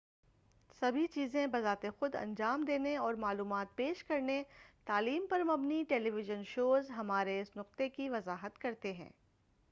سبھی چیزیں بذات خود انجام دینے اور معلومات پیش کرنے تعلیم پر مبنی ٹیلی ویژن شوز ہمارے اس نقطے کی وضاحت کرتے ہیں